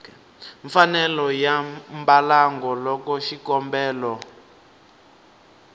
mfanelo ya mbalango loko xikombelo